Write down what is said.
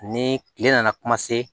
Ni kile nana